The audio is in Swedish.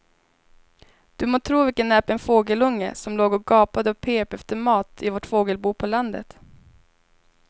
Du må tro vilken näpen fågelunge som låg och gapade och pep efter mat i vårt fågelbo på landet.